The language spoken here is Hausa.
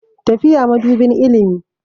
Tafiya madubin ilimi.